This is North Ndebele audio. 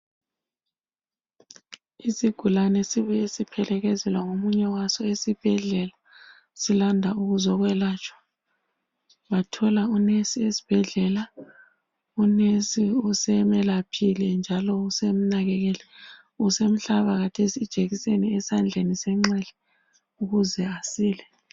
Isigulane sibuye siphelekezelwa ngomunye waso esibhedlela, silanda ukuzokwelatshwa. Bathola unesi esibhedlela. Unesi usemelaphile njalo usemnakekele. Usemhlaba kathesi ijekiseni esandleni senxele ukuze asile.